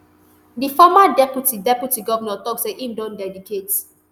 di former deputy deputy govnor tok say im don dedicate